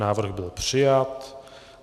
Návrh byl přijat.